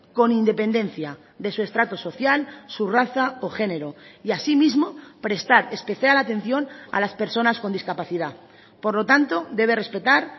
con independencia de su estrato social su raza o género y así mismo prestar especial atención a las personas con discapacidad por lo tanto debe respetar